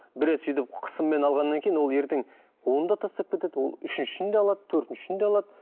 бір рет сөйтіп қысыммен алғаннан кейін ол ертең оны да тастап кетеді ол үшіншісін де алады төртіншісін де алады